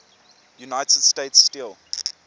united states steel